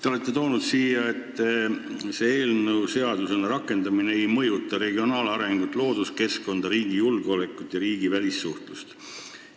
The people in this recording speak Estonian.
Te olete siin kinnitanud, et selle eelnõu seadusena rakendamine ei mõjuta regionaalarengut, looduskeskkonda, riigi julgeolekut ega riigivälist suhtlust.